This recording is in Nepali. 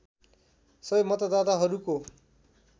सबै मतदाताहरूको